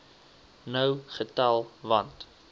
nou getel want